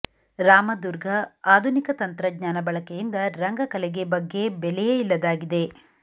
ರಾಮದುರ್ಗಃ ಆಧುನಿಕ ತಂತ್ರಜ್ಞಾನ ಬಳಕೆಯಿಂದ ರಂಗ ಕಲೆಗೆ ಬಗ್ಗೆ ಬೆಲೆಯೇ ಇಲ್ಲದಾಗಿದೆ